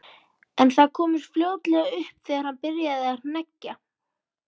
En það komst fljótlega upp þegar hann byrjaði að hneggja.